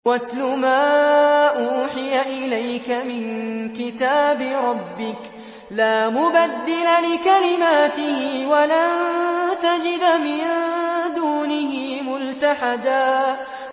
وَاتْلُ مَا أُوحِيَ إِلَيْكَ مِن كِتَابِ رَبِّكَ ۖ لَا مُبَدِّلَ لِكَلِمَاتِهِ وَلَن تَجِدَ مِن دُونِهِ مُلْتَحَدًا